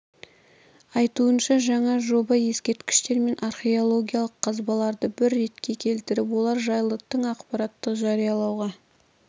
айтуынша жаңа жоба ескерткіштер мен археологиялық қазбаларды бір ретке келтіріп олар жайлы тың ақпаратты жариялауға